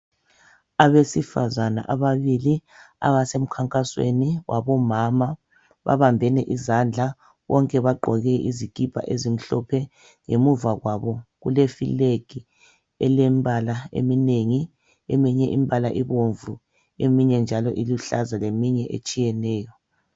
Abesifazane ababili abasemkhankasweni wabomama. Babambene izandla, bonke bagqoke izikipa ezimhlophe. Ngemuva kwabo kule"flag" elembala eminengi. Eminye imbala ibomvu, eminye iluhlaza leminye njalo etshiyeneyo.